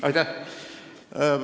Aitäh!